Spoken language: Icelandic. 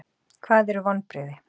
Hvað eru vonbrigði?